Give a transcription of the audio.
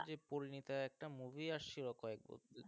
পরীণিতা একটা movie আসছিল কয়েক ,